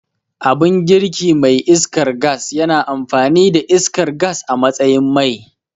Abun girki mai iskar gas yana amfani da iskar gas a matsayin mai